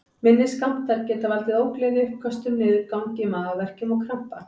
Minni skammtar geta valdið ógleði, uppköstum, niðurgangi, magaverkjum og krampa.